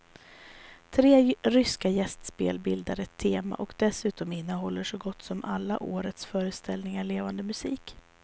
Tre ryska gästspel bildar ett tema och dessutom innehåller så gott som alla årets föreställningar levande musik.